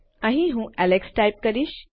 અહીં હું Alex type કરીશ